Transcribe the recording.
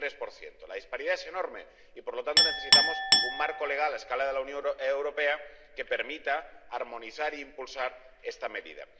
43 La disparidad es enorme, y por lo tanto necesitamos un marco legal a escala de la Unión Europea que permita armonizar e impulsar esta medida.